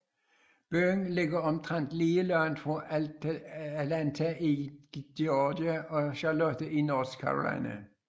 Byen ligger omtrent lige langt fra Atlanta i Georgia og Charlotte i North Carolina